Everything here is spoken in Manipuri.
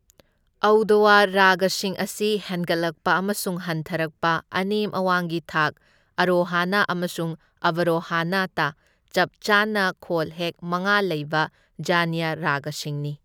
ꯑꯧꯗꯋ ꯔꯥꯒꯁꯤꯡ ꯑꯁꯤ ꯍꯦꯟꯒꯠꯂꯛꯄ ꯑꯃꯁꯨꯡ ꯍꯟꯊꯔꯛꯄ ꯑꯅꯦꯝ ꯑꯋꯥꯡꯒꯤ ꯊꯥꯛ ꯑꯔꯣꯍꯥꯅꯥ ꯑꯃꯁꯨꯡ ꯑꯕꯔꯣꯍꯥꯅꯥ ꯇ ꯆꯞꯆꯥꯅ ꯈꯣꯜꯍꯦꯛ ꯃꯉꯥ ꯂꯩꯕ ꯖꯅ꯭ꯌ ꯔꯥꯒꯁꯤꯡꯅꯤ꯫